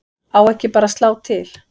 Á ekki bara að slá til?